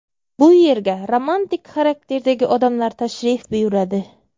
Bu yerga romantik xarakterdagi odamlar tashrif buyuradi.